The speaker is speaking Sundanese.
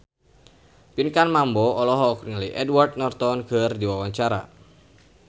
Pinkan Mambo olohok ningali Edward Norton keur diwawancara